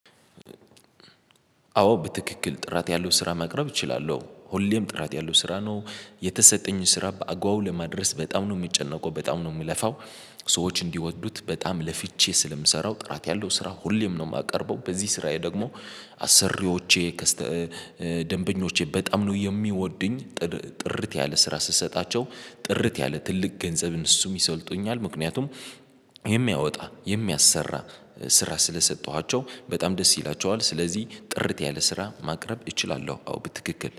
አዎ በትክክል ጥራት ያለው ስራ መቅረብ እችላለሁ ሁሌም ጥራት ያለው ስራ ነው የተሰጠኝን ስራ በአግበቡ ለመድረስ በጣም ነው የሚጨነቀው በጣም ነው የሚለፋው። ሰዎች እንዲወዱት በጣም ለፍቺ ስለምሰራው ጥራት ያለው ስራ ሁሌም ነው የማቀርበው በዚህ ስራዬ ደግሞ አሰሪዎቼ ከስተ ደንበኞቼ በጣም ነው የሚወዱኝ። ጥርት ያለ ስራ ስሰጣቸው ጥርት ያለ ትልቅ ገንዘብም እነሱም ይሰጡኛል ምክንያቱም የሚያወጣ የሚያሰራ ስራ ስለሰጠኋቸው በጣም ደስ ይላቸዋል። ስለዚህ ጥርት ያለ ስራ ማቅረብ እችላለሁ። አዎ በትክክል